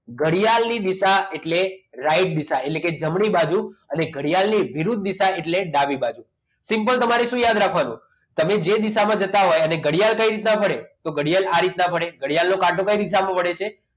ઘડિયાળની દિશા એટલે right દિશા એટલે કે જમણી બાજુ અને ઘડિયાળની વિરુદ્ધ દિશા એટલે ડાબી બાજુ simple તમારે શું યાદ રાખવાનું? તમે જે દિશામાં જતા હોય અને ઘડિયાળ કઈ દિશામાં વળે તો ઘડિયાળ ઘડિયાળ નો કાટો કઈ દિશામાં પડે છે